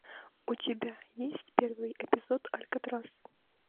у тебя есть первый эпизод алькатрас